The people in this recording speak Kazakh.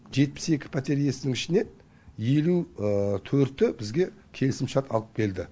жетпіс екі пәтер иесінің ішінен елу төрті бізге келісімшарт алып келді